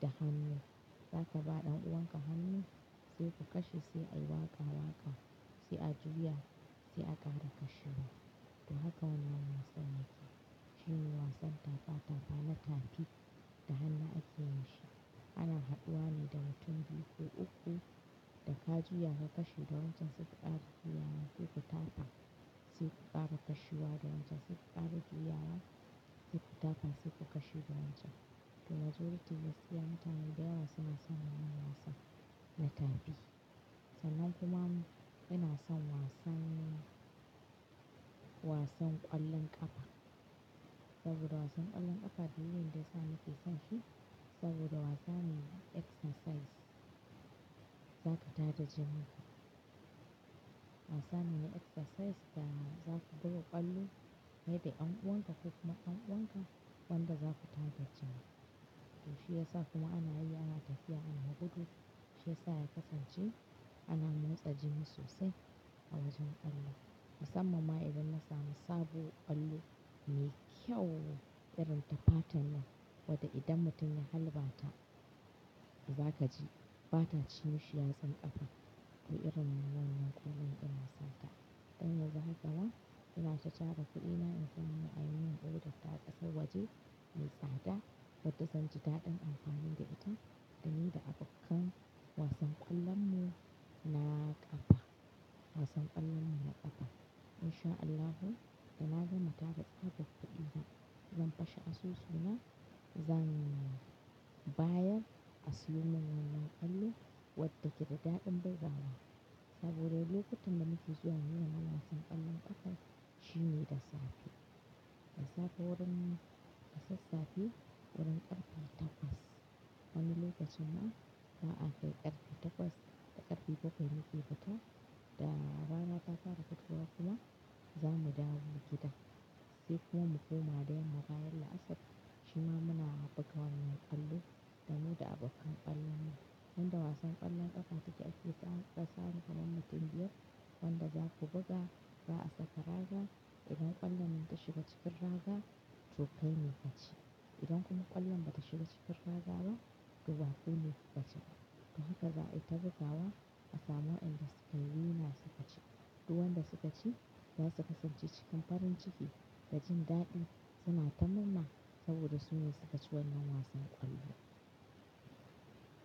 da hannu. Zaka ba ɗan uwanka hannu sai ka kashe, sai a yi waƙa-waƙa, sai a juya, sai aka da kashewa. To haka ne wannan wasan yake shine wasan tafa-tafa na taɓi da hannu ake yin shi. Ana haɗuwa ne da mutum biyu ko uku da ka juya ka kashe da wancan sai ka ƙara juyawa, sai ku tafa, sai ku ƙara kashewa da wancan, sai ƙara juyawa, sai ku tafa, sai ku kashe da wancan. To majority zai siya mutane da yawa suna son wannan wasan na taɓi. Sallan kuma ina son wasanni, wasan ƙwallon ƙafa saboda wasan ƙwallon ƙafa shine inda za mu fi son shi saboda wasanni exercise zaku tada jini ku. Wasan ne exercise da zaku buga ƙwallo, haɗe yan uwanka ko kuma yan uwanka wanda zaku tada jini. To shi ya sa kuma ana hira, ana tafiya, ana haɗuɗu shi ya sa ya kasance ana mintsa jini sosai a wajen ƙwallo. Musamman ma idan na samu sabo ƙwallo me kyau irin tafatan nan wadda idan mutum ya halba ta ba za ka ji, ba ta ci shi ya tsan ƙafa ko irin wannan ƙwallon ina sata. Don yanzu haka ina sha cara kuɗina in sayi na a yi min ɗuka tatar waje mai tsada wadda zan ji daɗin amfanin da ita da ni da abokan wasan ƙwallon mu na ƙafa. Wasan ƙwallon mu na ƙafa in sha Allahu da na gama taba tsakar kuɗin nan zan fashe asusu na zan bayar asalin wannan ƙwallo wadda ke da daɗin bai zawa saboda lokacin da na fi so a yi wannan wasan ƙwallon ƙafa shine da safe. Da safe wurin kasas safe wurin ƙarfi takwas. Wani lokacin ma ba a kai ƙarfi takwas da ƙarfi bakwai muƙi fita da rana ta fara fitowa kuma za mu dawo mu gida sai kuma mu koma da yamma baya la'asar shima muna buga wannan ƙwallo da mu da abokan ƙwallon mu. Wanda wasan ƙwallon ƙafa yake aiki tsakanin daban-daban mutum biyar wanda zaku buga ba a saka raga idan ƙwallon min ta shiga cikin raga to kai ne ka ci. Idan kuma ƙwallon bata shiga cikin raga ba to ba kai ne ku ka ci ba. To haka za a tabba zawa asamo inda sikeli suna suka ci. Duk wanda suka ci zasu kasance cikin farin ciki da jin daɗi suna ta mamman saboda sun ne su ka ci wannan wasan ƙwallo.